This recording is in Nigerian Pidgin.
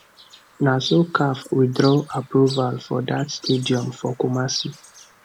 na so caf withdraw approval for dat stadium for kumasi